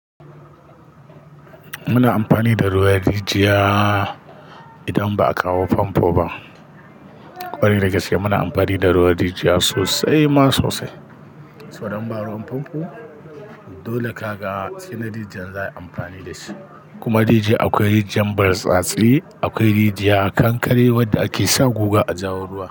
Muna amfani da ruwan rijiya. Idan ba a kawo famfo ba. Kwarai da gaske muna amfani da ruwan rijiya sosai ma, sosai. Saboda inba ruwan famfo. Dole ka ga sai na rijiya za a yi amfani da shi. Kuma rijiya akwai rijiyar bartsatse, akwai rijiyar kankare wadda ake sa guga a jawo ruwa.